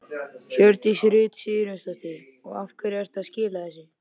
Hjördís Rut Sigurjónsdóttir: Og af hverju ertu að skila þessu?